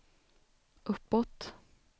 uppåt